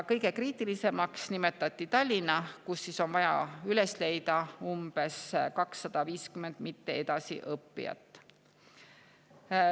Kõige kriitilisemaks nimetati Tallinna, kus on vaja üles leida umbes 250 mitte edasi õppijat.